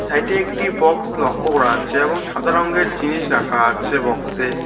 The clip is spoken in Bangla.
সাইড -এ একটি বক্স লক্ষ করা যাচ্ছে এবং সাদা রংগের জিনিস রাখা আছে বক্স -এ।